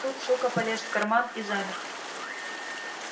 тут сука полез в карман и замер